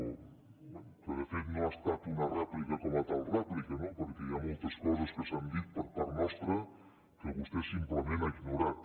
bé que de fet no ha estat una rèplica com a tal rèplica no perquè hi ha moltes coses que s’han dit per part nostra que vostè simplement ha ignorat